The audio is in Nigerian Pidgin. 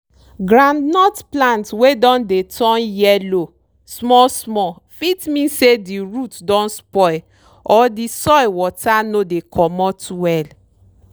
groundnut plant wey don dey turn yellow small small fit mean say di root don spoil or di soil water no dey comot well.